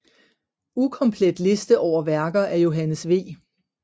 Ukomplet liste over værker af Johannes V